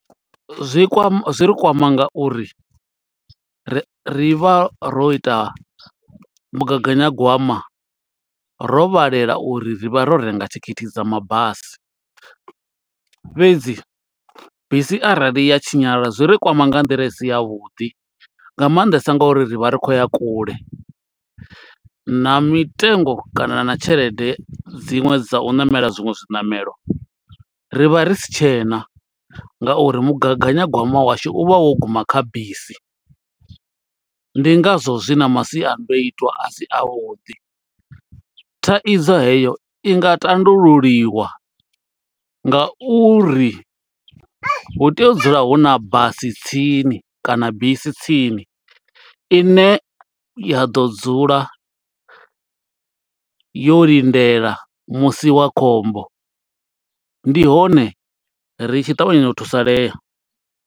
Zwi kwama zwi ri kwama nga uri ri ri vha ro ita mugaganyagwama ro vhalela uri ri vha ro renga thikhithi dza mabasi. Fhedzi bisi arali ya tshinyala zwi ri kwama nga nḓila i si ya vhuḓi. Nga maanḓesa ngo uri ri vha ri khou ya kule, na mitengo kana na tshelede dziṅwe dza u ṋamela zwiṅwe zwiṋamelo, ri vha ri si tshena. Nga uri mugaganyagwama washu u vha wo guma kha bisi, ndi nga zwo zwi na masiandoitwa a si a vhuḓi. Thaidzo heyo i nga tandululiwa nga uri hu tea u dzula hu na basi tsini kana bisi tsini, i ne ya ḓo dzula yo lindela musi wa khombo. Ndi hone ri tshi ṱavhanya u thusalea.